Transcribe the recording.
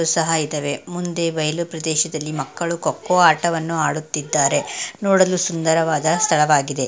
ಸಹ ಇದಾವೆ ಮುಂದೆ ಬೈಲು ಪ್ರದೇಶದಲ್ಲಿ ಮಕ್ಕಳು ಖೋ ಖೋ ಆಟವನ್ನು ಆಡುತ್ತಿದ್ದಾರೆ ನೋಡಲು ಸುಂದರವಾದ ಸ್ಥಳವಾಗಿದೆ .